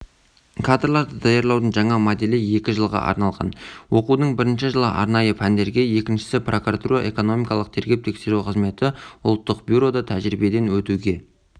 кадрларды даярлаудың жаңа моделі екі жылға арналған оқудың бірінші жылы арнайы пәндерге екіншісі прокуратура экономикалық тергеп-тексеру қызметі ұлттық бюрода тәжірибеден өтуге